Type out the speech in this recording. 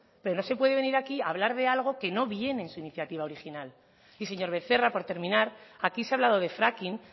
pero no se puede venir aquí a hablar de algo que no viene en su iniciativa original y señor becerra por terminar aquí se ha hablado de fracking